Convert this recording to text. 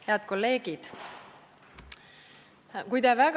Head kolleegid!